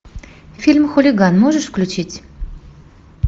фильм хулиган можешь включить